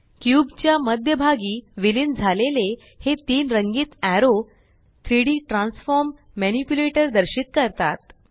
cube च्या मध्य भागी विलीन झालेले हे तीन रंगीत एरो 3Dट्रॅन्सफॉर्म मनिप्युलेटर दर्शित करतात